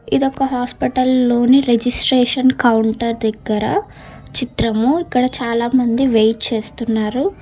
ఇదొక హాస్పిటల్ లోని registration counter దగ్గర చిత్రము ఇక్కడ చాలామంది వెయిట్ చేస్తున్నారు.